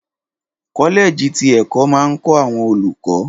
Kọ́lẹ̀ẹ̀jì ti ẹ̀kọ́ máa ń kọ́ àwọn olùkọ́